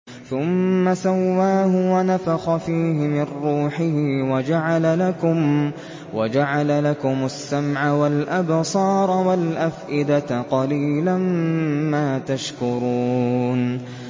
ثُمَّ سَوَّاهُ وَنَفَخَ فِيهِ مِن رُّوحِهِ ۖ وَجَعَلَ لَكُمُ السَّمْعَ وَالْأَبْصَارَ وَالْأَفْئِدَةَ ۚ قَلِيلًا مَّا تَشْكُرُونَ